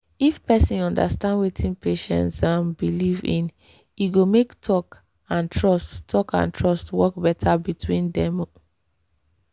if person understand wetin patient um believe in e go make talk and trust talk and trust work better between dem. um